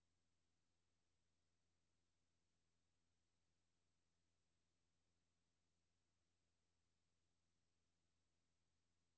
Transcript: Årgangene fra begyndelsen af tresserne, de årgange, som er opdraget til at kontrollere alle livets faser, har gjort plads i kalenderen til familieforøgelse.